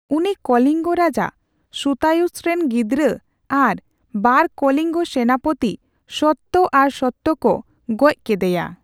ᱩᱱᱤ ᱠᱚᱞᱤᱝᱜᱚ ᱨᱟᱡᱟ ᱥᱩᱛᱟᱭᱩᱥᱨᱮᱱ ᱜᱤᱫᱽᱹᱨᱟᱹ ᱟᱨ ᱵᱟᱨ ᱠᱚᱞᱤᱝᱜᱚ ᱥᱮᱱᱟᱯᱚᱛᱤ ᱥᱚᱛᱛᱚ ᱟᱨ ᱥᱚᱛᱛᱚ ᱠᱚ ᱜᱚᱡᱽ ᱠᱮᱫᱮᱭᱟ ᱾